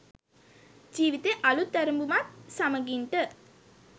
ජිවිතේ අලුත් ඇරබුමත් සමඟින් ට